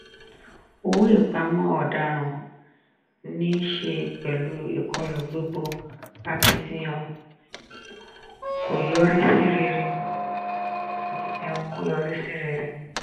owó ìpamọ́ ọ̀daràn ní í ṣe pẹ̀lú ìkọlù gbogbo akitiyan kọ yọrí sí rere.